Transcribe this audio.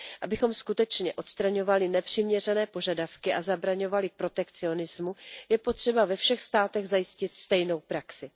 Abychom skutečně odstraňovali nepřiměřené požadavky a zabraňovali protekcionismu, je potřeba ve všech státech zajistit stejnou praxi.